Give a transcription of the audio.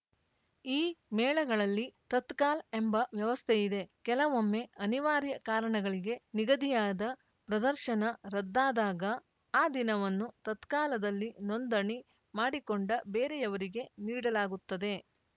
ಈ ಮೇಳಗಳಲ್ಲಿ ತತ್ಕಾಲ್‌ ಎಂಬ ವ್ಯವಸ್ಥೆಯಿದೆ ಕೆಲವೊಮ್ಮೆ ಅನಿವಾರ್ಯ ಕಾರಣಗಳಿಗೆ ನಿಗದಿಯಾದ ಪ್ರದರ್ಶನ ರದ್ದಾದಾಗ ಆ ದಿನವನ್ನು ತತ್ಕಾಲದಲ್ಲಿ ನೋಂದಣಿ ಮಾಡಿಕೊಂಡ ಬೇರೆಯವರಿಗೆ ನೀಡಲಾಗುತ್ತದೆ